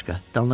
Dalına qulaq as.